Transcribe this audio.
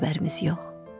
Xəbərimiz yox.